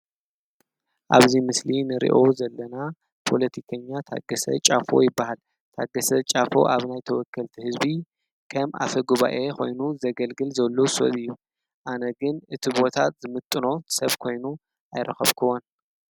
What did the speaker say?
ኣብዙይ ምስሊ ንርእኦ ዘለና ፖሎቲከኛ ታገሰ ጫፎ ይበሃ። ታገሰ ጫፎ ኣብ ናይ ተወከልቲ ሕዝቢ ከም ኣፈ ጕባኤ ኾይኑ ዘገልግል ዘሎ ሰጥ እዩ ኣነግን እቲ ቦታት ዝምጥኖ ሰብ ኮይኑ ኣይረኸብክዎን።